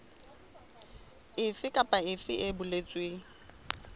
efe kapa efe e boletsweng